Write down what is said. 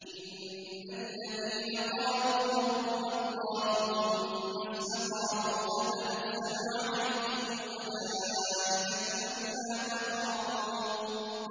إِنَّ الَّذِينَ قَالُوا رَبُّنَا اللَّهُ ثُمَّ اسْتَقَامُوا